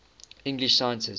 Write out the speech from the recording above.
english scientists